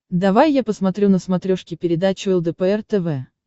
давай я посмотрю на смотрешке передачу лдпр тв